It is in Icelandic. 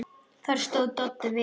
Þar stóð Doddi vel.